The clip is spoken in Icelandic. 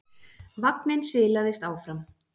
Vagninn silaðist áfram.